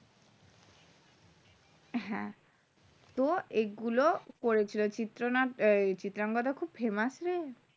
হ্যাঁ তো এইগুলো করেছিল চিত্রনাট্য চিত্রাঙ্গদা খুব famous রে